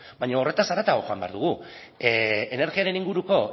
baino horretaz haratago joan behar dugu energiaren inguruko